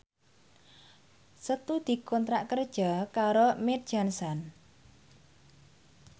Setu dikontrak kerja karo Mead Johnson